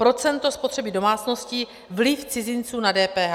Procento spotřeby domácností, vliv cizinců na DPH.